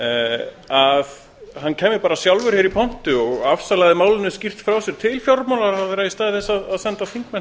að hann kæmi bara sjálfur í pontu og afsalaði málinu skýrt frá sér til fjármálaráðherra í stað þess að senda þingmenn